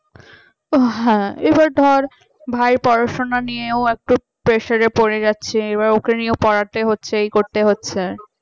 ওহ হ্যাঁ এবার ধর ভাই পড়াশোনা নিয়ে ও একটু pressure পড়ে যাচ্ছে এবার ওকে নিয়ে পড়াতে হচ্ছে এই করতে হচ্ছে